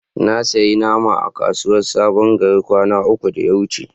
Na siya naman akuyan a kasuwa sabon gari kwana uku da ya wuce.